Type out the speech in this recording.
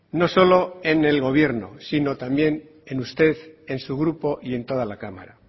no solo en el gobierno sino también en usted en su grupo y en toda la cámara